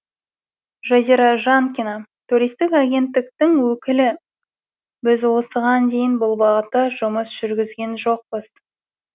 жазира жанкина туристік агенттіктің өкілі біз осыған дейін бұл бағытта жұмыс жүргізген жоқпыз